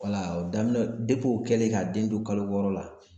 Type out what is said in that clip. daminɛ o kɛlen ka den don kalo wɔɔrɔ la